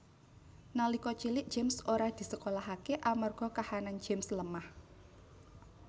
Nalika cilik James ora disekolahaké amarga kahanan James lemah